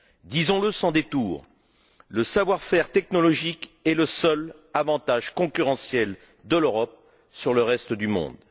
Disons le sans détour le savoir faire technologique est le seul avantage concurrentiel de l'Europe sur le reste du monde.